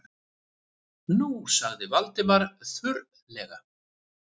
Nú- sagði Valdimar þurrlega.